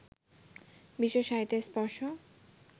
বিশ্বসাহিত্যের স্পর্শ